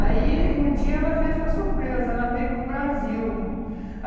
Aí, um dia, ela fez uma surpresa, ela veio para o Brasil.